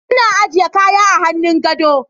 Ina aje kaya a hannun gado.